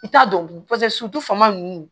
I t'a dɔn paseke su faama ninnu